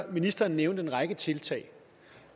ministeren nævnte en række tiltag